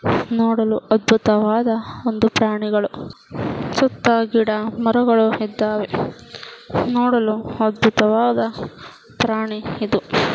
ನೋಡಲು ಅದ್ಭುತವಾದ ಒಂದು ಪ್ರಾಣಿಗಳು ಸುತ್ತ ಗಿಡ ಮರಗಳು ಇದ್ದವೇ ನೋಡಲು ಅದ್ಭುತವಾದ ಪ್ರಾಣಿ ಇದು .